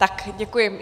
Tak, děkuji.